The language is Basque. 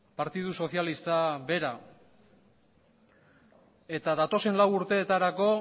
partidu sozialista bera eta datozen lau urteetarako